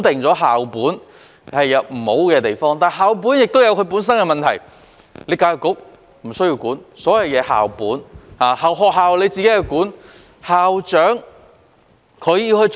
但是，校本制度本身確有問題，因為教育局不需要管理，一切事情皆由學校自行管理。